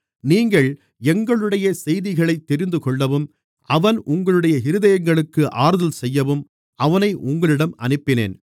நீங்கள் எங்களுடைய செய்திகளைத் தெரிந்துகொள்ளவும் அவன் உங்களுடைய இருதயங்களுக்கு ஆறுதல் செய்யவும் அவனை உங்களிடம் அனுப்பினேன்